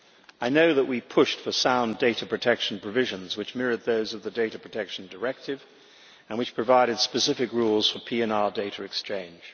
I know that we pushed for sound data protection provisions which mirrored those of the Data Protection Directive and which provided specific rules for PNR data exchange.